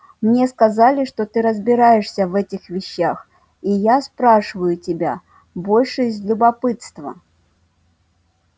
мне сказали что ты разбираешься в этих вещах и я спрашиваю тебя больше из любопытства